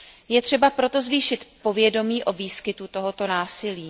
Je třeba proto zvýšit povědomí o výskytu tohoto násilí.